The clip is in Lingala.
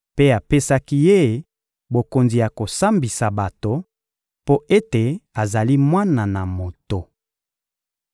mpe apesaki Ye bokonzi ya kosambisa bato, mpo ete azali Mwana na Moto.